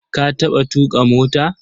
Ka taɓa tuƙa mota?